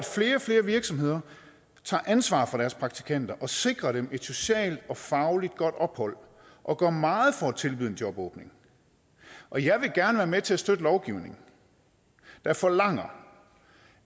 flere virksomheder tager ansvar for deres praktikanter og sikrer dem et socialt og fagligt godt ophold og gør meget for at tilbyde en jobåbning og jeg vil gerne være med til at støtte en lovgivning der forlanger